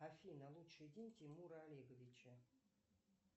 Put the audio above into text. афина лучший день тимура олеговича